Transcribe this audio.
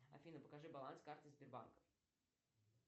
афина покажи баланс карты сбербанка